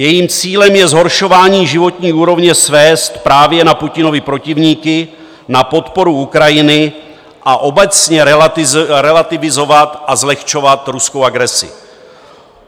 Jejím cílem je zhoršování životní úrovně svést právě na Putinovy protivníky, na podporu Ukrajiny a obecně relativizovat a zlehčovat ruskou agresi.